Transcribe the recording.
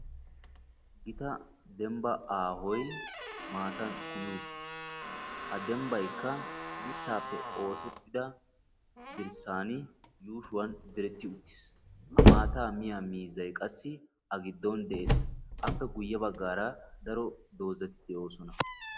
Gita dembba aahoy maattan kumi uttiis, ha dembbaykka mittaape oosettida dirssan yuushshuwaan diretti uttiis, ha maataa miyaa miizzay qassi a giddon de'es, appe guye baggaara daro dozati de''oossona .